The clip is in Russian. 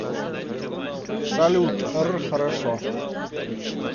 салют р хорошо